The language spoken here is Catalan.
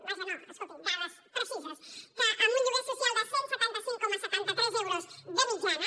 vaja no escolti’m dades precises amb un lloguer social de cent i setanta cinc coma setanta tres euros de mitjana